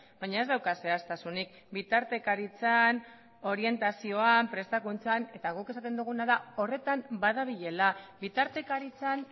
baina ez dauka zehaztasunik bitartekaritzan orientazioan prestakuntzan eta guk esaten duguna da horretan badabilela bitartekaritzan